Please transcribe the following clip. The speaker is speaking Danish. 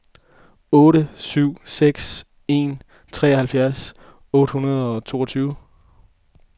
otte syv seks en treoghalvfjerds otte hundrede og toogtyve